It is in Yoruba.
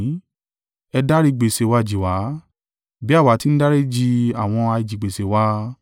Ẹ dárí gbèsè wa jì wá, Bí àwa ti ń dáríji àwọn ajigbèsè wa,